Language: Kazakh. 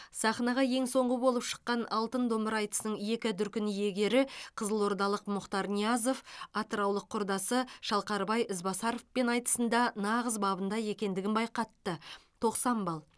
сахнаға ең соңғы болып шыққан алтын домбыра айтысының екі дүркін иегері қызылордалық мұхтар ниязов атыраулық құрдасы шалқарбай ізбасаровпен айтысында нағыз бабында екендігін байқатты тоқсан балл